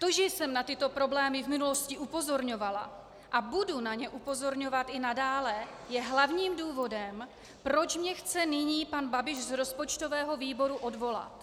To, že jsem na tyto problémy v minulosti upozorňovala a budu na ně upozorňovat i nadále, je hlavním důvodem, proč mě chce nyní pan Babiš z rozpočtového výboru odvolat.